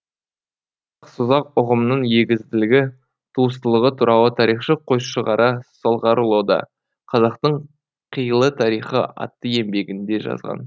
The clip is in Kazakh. созақ ұғымының егізділігі туыстылығы туралы тарихшы қойшығара салғараұлы да қазақтың қилы тарихы атты еңбегінде жазған